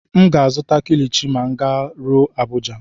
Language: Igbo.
M ga-azụta Kilichi ma m garuo Abuja.